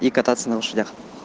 и кататься на лошадях